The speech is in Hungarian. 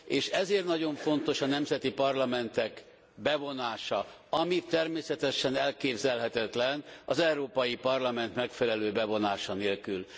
És ezért nagyon fontos a nemzeti parlamentek bevonása, ami természetesen elképzelhetetlen az Európai Parlament megfelelő bevonása nélkül.